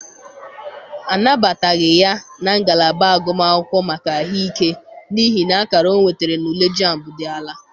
Anabataghị ya na ngalaba agụm akwụkwọ maka ahụ ike n'ihi na akara ọ nwetara na-ule jambụ dị ala.